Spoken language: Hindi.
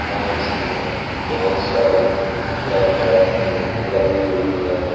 और इसमें बहुत सारी लाइटें भी लगी हुई है।